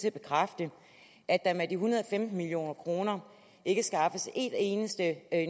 at bekræfte at der med de en hundrede og femten million kroner ikke skaffes en eneste